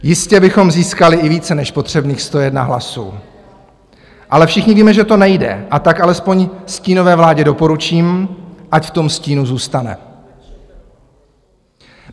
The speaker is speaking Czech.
Jistě bychom získali i více než potřebných 101 hlasů, ale všichni víme, že to nejde, a tak alespoň stínové vládě doporučím, ať v tom stínu zůstane.